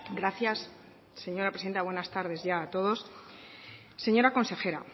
gracias señora presidenta buenas tardes ya a todos señora consejera